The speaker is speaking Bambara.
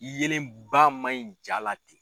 Yelen ba man ɲi jaa la